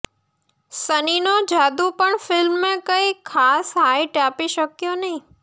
સનીનો જાદુ પણ ફિલ્મને કંઈ ખાસ હાઈટ આપી શક્યો નહીં